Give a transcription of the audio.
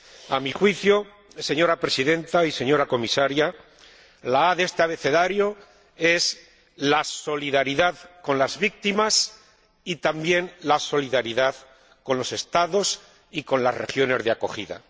A mi juicio, señora Presidenta y señora Comisaria, la a de este abecedario es la solidaridad con las víctimas y también la solidaridad con los Estados y con las regiones de acogida.